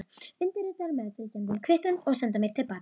Undirritaðu meðfylgjandi kvittun og sendu mér til baka.